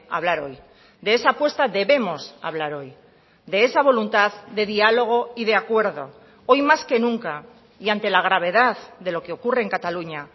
hablar hoy de esa apuesta debemos hablar hoy de esa voluntad de diálogo y de acuerdo hoy más que nunca y ante la gravedad de lo que ocurre en cataluña